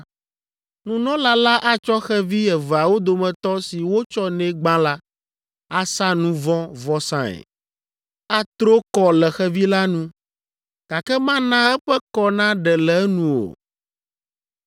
Nunɔla la atsɔ xevi eveawo dometɔ si wotsɔ nɛ gbã la, asa nu vɔ̃ vɔsae. Atro kɔ le xevi la nu, gake mana eƒe kɔ naɖe le enu o.